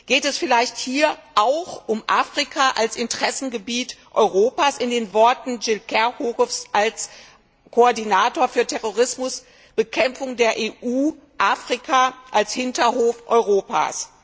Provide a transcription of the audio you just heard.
Geht es vielleicht hier auch um Afrika als Interessengebiet Europas, in den Worten von Gilles de Kerchove als Koordinator für Terrorismusbekämpfung der EU Afrika als Hinterhof Europas.